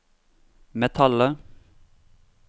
metallet